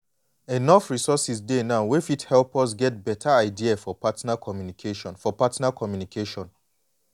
enough resources dey now wey fit help us get better idea for partner communication. for partner communication.